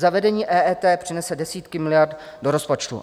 Zavedení EET přinese desítky miliard do rozpočtu.